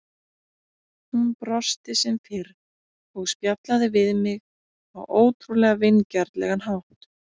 Hún brosti sem fyrr og spjallaði við mig á ótrúlega vingjarnlegan hátt.